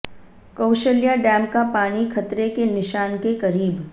Kaushalya dam का पानी खतरे के निशान के करीब